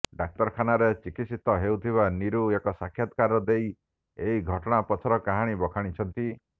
ଡ଼ାକ୍ତରଖାନାରେ ଚିକିତ୍ସିତ ହେଉଥିବା ନୀରୁ ଏକ ସାକ୍ଷାତକାର ଦେଇ ଏହି ଘଟଣା ପଛର କାରଣ ବଖାଣଇଛନ୍ତି